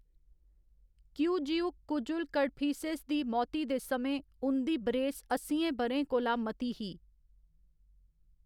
किऊजिउक, कुजुल कड़फिसेस, दी मौती दे समें उं'दी बरेस अस्सियें ब'रें कोला मती ही।